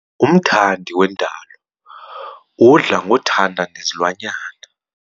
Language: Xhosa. Umthandi wendalo udla ngokuthanda nezilwanyana.